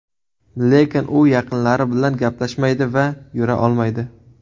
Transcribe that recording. Lekin u yaqinlari bilan gaplashmaydi va yura olmaydi.